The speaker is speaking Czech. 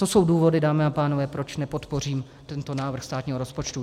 To jsou důvody, dámy a pánové, proč nepodpořím tento návrh státního rozpočtu.